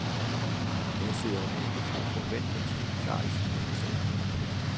Her sidder en enkefrue forventningsfuld klar i sin himmelseng.